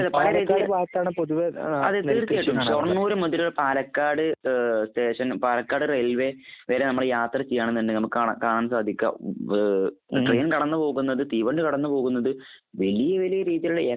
അതെ. അതെ. പല രീതിയിലും അതെ. തീർച്ചയായിട്ടും. ഷൊർണൂർ മുതൽ പാലക്കാട് ഏഹ് സ്റ്റേഷൻ പാലക്കാട് റെയിൽവേ വരെ നമ്മൾ യാത്ര ചെയ്യുകയാണെന്നുണ്ടെങ്കിൽ നമുക്ക് കാണുന്നത് അധികം ഏഹ് ട്രെയിൻ കടന്ന് പോകുന്നത് തീവണ്ടി കടന്ന് പോകുന്നത് വലിയ ഒരു രീതിയിലുള്ള